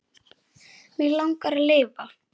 Mig langar að lifa.